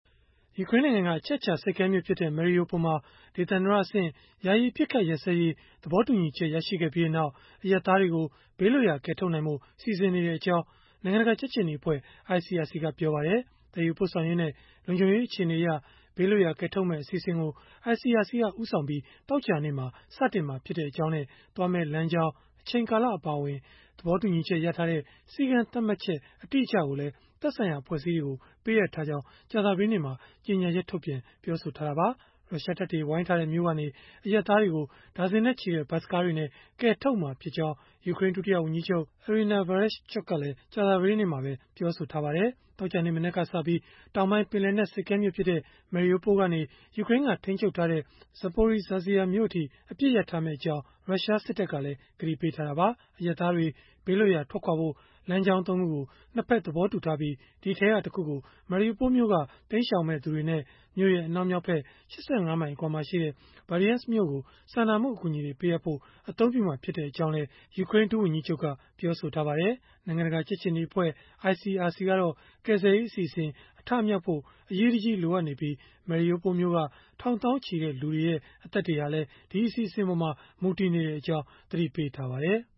ယူကရိန်းနိုင်ငံက အချက်အခြာ ဆိပ်ကမ်းမြို့ဖြစ်တဲ့ Mariupol မှာ၊ ဒေသန္တရအဆင့် ယာယီအပစ်အခတ် ရပ်စဲရေး သဘောတူညီချက် ရရှိခဲ့ပြီးနောက် အရပ်သားတွေကို ဘေးလွတ်ရာ ကယ်ထုတ်နိုင်ဖို့ စီစဉ်နေကြောင်း နိုင်ငံတကာ ကြက်ခြေနီအဖွဲ့ ICRC က ပြောပါတယ်။ သယ်ယူပို့ဆောင်ရေးနဲ့ လုံခြုံရေးအခြေအနေအရ ဘေးလွတ်ရာ ကယ်ထုတ်မယ့် အစီအစဉ်ကို ICRC က ဦးဆောင်ပြီး သောကြာနေ့မှာ စတင်မှာဖြစ်ကြောင်းနဲ့ သွားမယ့်လမ်းကြောင်း၊ အချိန်ကာလ အပါအဝင် သဘောတူညီချက်ရထားတဲ့ စည်းကမ်းသတ်မှတ်ချက် အတိအကျကိုလည်း သက်ဆိုင်ရာ အဖွဲ့အစည်းတွေကို ပေးအပ်ထားကြောင်း ကြာသပတေးနေ့မှာ ကြေညာချက် ထုတ်ပြန် ပြောဆိုခဲ့တာပါ။ ရုရှားတပ်တွေ ဝိုင်းထားတဲ့မြို့က အရပ်သားတွေကို ဒါဇင်နဲ့ချီတဲ့ ဘတ်စ်ကားတွေနဲ့ ကယ်ထုတ်မှာဖြစ်ကြောင်း ယူကရိန်း ဒုဝန်ကြီးချုပ် Iryna Vereshchuk ကလည်း ကြာသပတေးနေ့မှာပဲ ပြောဆိုထားပါတယ်။ သောကြာနေ့ မနက်ကစပြီး တောင်ပိုင်း ပင်လယ်နက်ဆိပ်ကမ်းမြို့ဖြစ်တဲ့ Mariupol ကနေ ယူကရိန်းက ထိန်းချုပ်ထားတဲ့ Zaporizhzhia မြို့အထိ အပစ်ရပ်ထားမယ့်အကြောင်း ရုရှားစစ်တပ်ကလည်း ကတိပေးထားတာပါ။ အရပ်သားတွေ ဘေးလွတ်ရာ ထွက်ခွာဖို့ လမ်းကြောင်း ၃ ခုကို ၂ ဖက်သဘောတူထားပြီး၊ ဒီအထဲက တခုကို Mariupol မြို့က တိမ်းရှောင်မယ့်သူတွေနဲ့ မြို့ရဲ့ အနောက်မြောက်ဖက် ၈၅ မိုင် အကွာမှာရှိတဲ့ Berdyansk မြို့ကို စာနာမှု အကူအညီတွေ ပေးအပ်ဖို့ အသုံးပြုမှာ ဖြစ်ကြောင်းလည်း ယူကရိန်း ဒုဝန်ကြီးချုပ်က ပြောပါတယ်။ နိုင်ငံတကာ ကြက်ခြေနီအဖွဲ့ ICRC ကတော့ ကယ်ဆယ်ရေး အစီအစဉ် အထမြောက်ဖို့ အရေးတကြီး လိုအပ်နေပြီး Mariupol မြို့က ထောင်သောင်းချီတဲ့ လူတွေရဲ့ အသက်တွေဟာလည်း ဒီအစီအစဉ်ပေါ်မှာ မူတည်နေကြောင်း သတိပေးထားပါတယ်။